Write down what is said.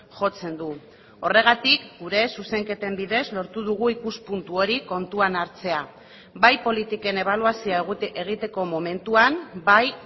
jotzen du horregatik gure zuzenketen bidez lortu dugu ikuspuntu hori kontuan hartzea bai politiken ebaluazioa egiteko momentuan bai